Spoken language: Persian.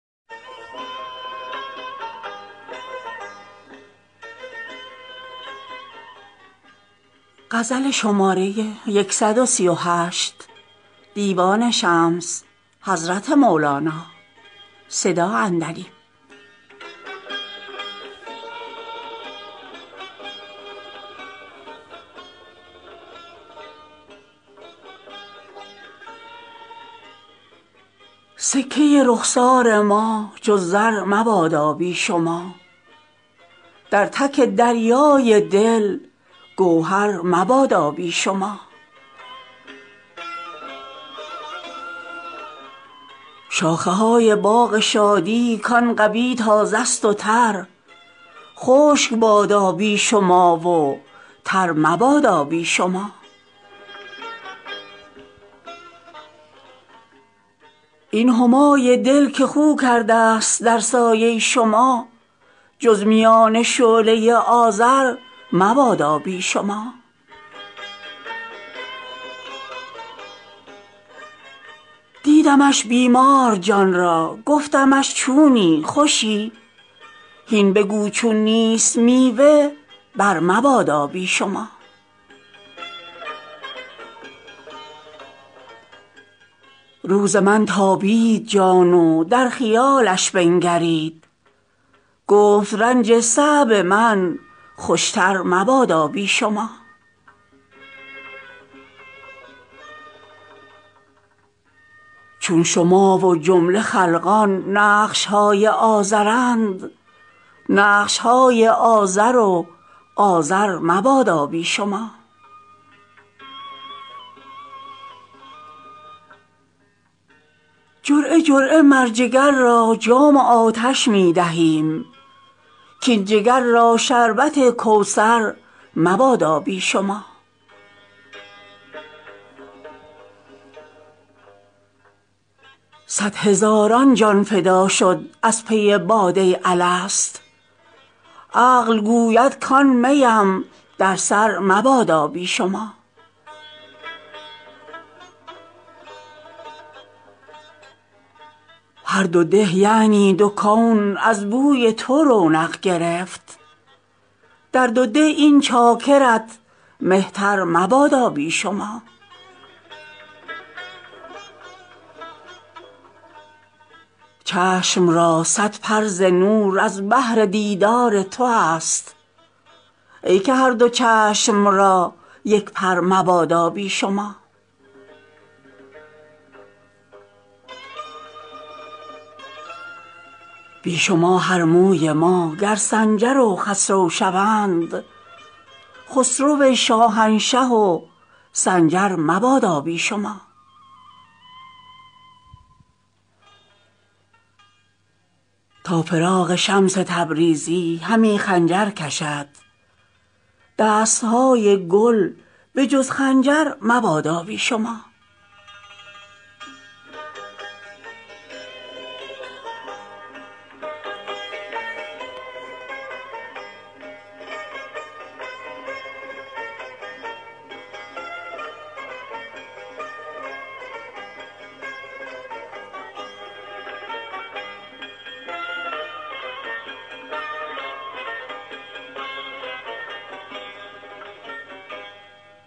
سکه رخسار ما جز زر مبادا بی شما در تک دریای دل گوهر مبادا بی شما شاخه های باغ شادی کان قوی تازه ست و تر خشک بادا بی شما و تر مبادا بی شما این همای دل که خو کردست در سایه شما جز میان شعله آذر مبادا بی شما دیدمش بیمار جان را گفتمش چونی خوشی هین بگو چون نیست میوه برمبادا بی شما روز من تابید جان و در خیالش بنگرید گفت رنج صعب من خوشتر مبادا بی شما چون شما و جمله خلقان نقش های آزرند نقش های آزر و آزر مبادا بی شما جرعه جرعه مر جگر را جام آتش می دهیم کاین جگر را شربت کوثر مبادا بی شما صد هزاران جان فدا شد از پی باده الست عقل گوید کان می ام در سر مبادا بی شما هر دو ده یعنی دو کون از بوی تو رونق گرفت در دو ده این چاکرت مهتر مبادا بی شما چشم را صد پر ز نور از بهر دیدار توست ای که هر دو چشم را یک پر مبادا بی شما بی شما هر موی ما گر سنجر و خسرو شوند خسرو شاهنشه و سنجر مبادا بی شما تا فراق شمس تبریزی همی خنجر کشد دست های گل به جز خنجر مبادا بی شما